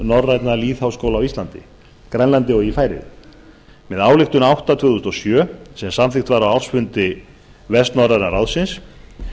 norrænna lýðháskóla á íslandi grænlandi og í færeyjum með ályktun númer átta tvö þúsund og sjö sem samþykkt var á ársfundi vestnorræna ráðsins